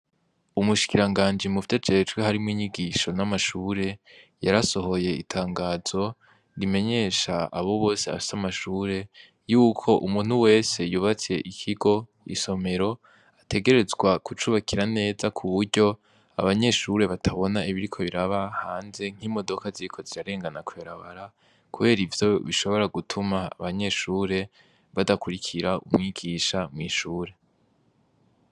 Umushikiranganji muvyo ajejwe harimwo inyigisho n'amashure yarasohoye itangazo rimenyesha abo bose bafise amashure yuko umuntu wese yubatse ikigo isomero ategerezwa kucubakira neza kuburyo abanyeshure batabona ibiriko biraba hanze nk'imodoka ziriko zirarengana kwibarabara kubera ivyo bishobora gutuma abanyeshure badakwirikira umwigisha mwishure.